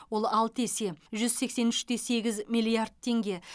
ол алты есе жүз сексен үш те сегіз миллиард теңге